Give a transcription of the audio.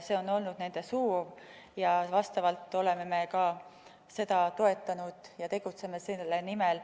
See on olnud nende soov ja seda me oleme ka toetanud, tegutseme selle nimel.